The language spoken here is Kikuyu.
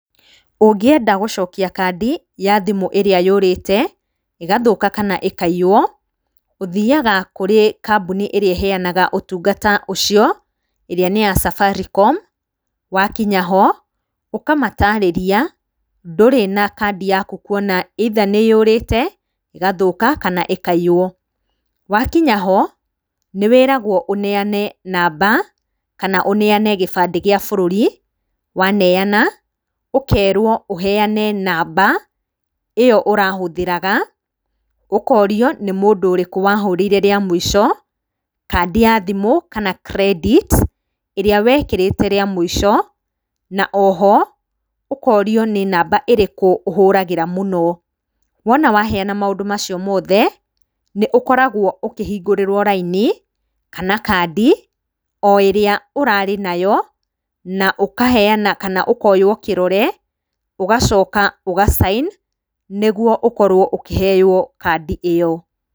Ũngĩenda gũcokia kandi ya thimũ ĩrĩa yũrĩte, ĩgathũka kana ĩkaiywo, ũthiaga kũrĩ kambuni ĩrĩa ĩheanaga ũtungata ucio, ĩrĩa nĩ ya Safaricom. Wakinya ho, ũkamatarĩria ndũrĩ na kandi yaku kuona either nĩ yũrĩte, ĩgathũka kana ĩkaiywo. Wa kinya ho, nĩ wĩragwo ũneana namba kana ũneane gĩbandĩ gĩa bũrũri, waneana, ũkerwo ũheane namba ĩyo ũrahũthĩraga, ũkorio nĩ mũndũ ũrĩkũ wahũrĩire rĩa mũico, kandĩ ya thimũ kana credit ĩrĩa wekĩrĩte rĩa mũico, na oho, ũkorio nĩ nama ĩrĩkũ ũhũragĩra mũno. Wona waneana macio mothe, nĩ ũkoragwo ũkĩhingũrĩrwo raini, kana kandi o ĩrĩa ũrarĩ nayo, na ũkaheana kana ũkoywo kĩrore, ũgacoka ũga sign nĩ guo ũkorwo ũkĩheyo kandi ĩyo.